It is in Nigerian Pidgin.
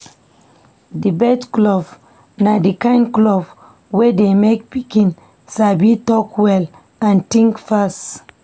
Debate club na di kain club wey dey make pikin sabi talk well and think fast.